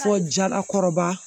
Fɔ jalakɔrɔba